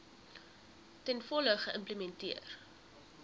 ten volle geïmplementeer